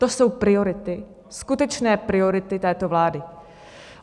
To jsou priority, skutečné priority této vlády.